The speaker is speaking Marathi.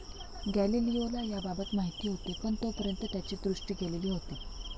गॅलिलिओला याबाबत माहिती होते पण तोपर्यंत त्याची दृष्टी गेलेली होती.